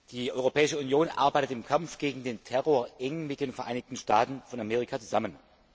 Die Europäische Union arbeitet im Kampf gegen den Terror eng mit den Vereinigten Staaten von Amerika zusammen.